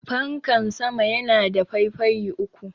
fankan sama yana da faifayi uku